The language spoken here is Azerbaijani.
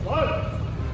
Hopp!